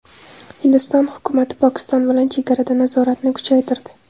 Hindiston hukumati Pokiston bilan chegarada nazoratni kuchaytirdi.